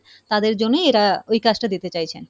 তাদের জন্যই এরা ওই কাজটা দিতে চাইছেন।